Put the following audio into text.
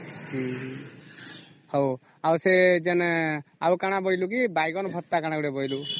ହଉ ଆଉ ସେ ଯେଣେ ଆଉ କଣ ବୋଇଲେ କି ବାଇଗଣ ଭର୍ତ୍ତି କହିଥିଲୁ